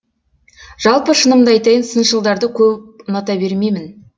жалпы шынымды айтайын сыншылдарды көп ұната бермеймін